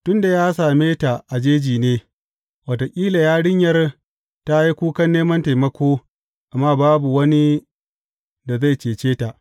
Tun da ya same ta a jeji ne, wataƙila yarinyar ta yi kukan neman taimako, amma babu wani da zai cece ta.